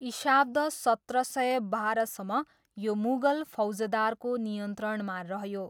इशाब्द सत्र सय बाह्रसम्म यो मुगल फौजदारको नियन्त्रणमा रह्यो।